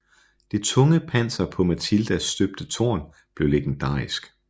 Det tunge panser på Matildas støbte tårn blev legendarisk